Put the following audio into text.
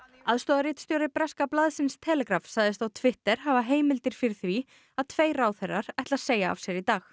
aðstoðarritstjóri breska blaðsins Telegraph sagðist á Twitter hafa heimildir fyrir því að tveir ráðherrar ætli að segja af sér í dag